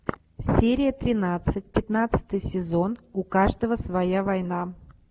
серия тринадцать пятнадцатый сезон у каждого своя война